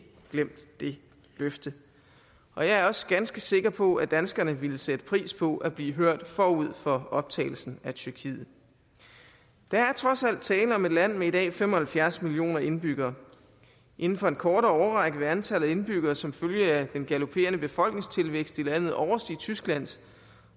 glemt det løfte og jeg er også ganske sikker på at danskerne ville sætte pris på at blive hørt forud for optagelsen af tyrkiet der er trods alt tale om et land med i dag fem og halvfjerds millioner indbyggere inden for en kortere årrække vil antallet af indbyggere som følge af den galopperende befolkningstilvækst i landet overstige tysklands